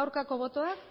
hirurogeita